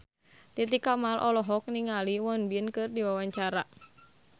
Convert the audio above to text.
Titi Kamal olohok ningali Won Bin keur diwawancara